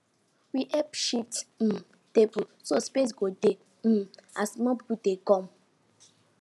we help shift um table so space go dey um as more people dey come